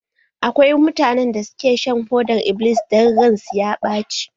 Akwai mutanen da ke shan fodar-iblis idan ran su ya ɓace.